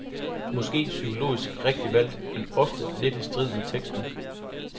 Måske psykologisk rigtigt valgt, men ofte lidt i strid med teksten.